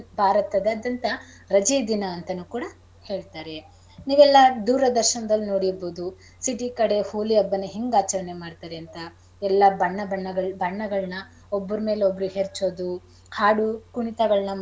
ಭಾರತದಾದ್ಯಂತ ರಜೆ ದಿನ ಅಂತಾನೂ ಕೂಡ ಹೇಳ್ತಾರೆ ನೀವೆಲ್ಲ ದೂರದರ್ಶನದಲ್ಲಿ ನೋಡಿರ್ಬಹುದು city ಕಡೆ ಹೋಳಿ ಹಬ್ಬನಾ ಹೆಂಗ್ ಆಚರಣೆ ಮಾಡ್ತಾರೆ ಅಂತ ಎಲ್ಲಾ ಬಣ್ಣ ಬಣ್ಣಗಳ್~ ಬಣ್ಣಗಳ್ನ ಒಬ್ರ್ ಮೇಲೆ ಒಬ್ರೂ ಎರ್ಚೊದು ಹಾಡು ಕುಣಿತಗಳ್ನ.